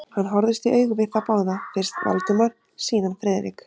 Hann horfðist í augu við þá báða, fyrst Valdimar, síðan Friðrik.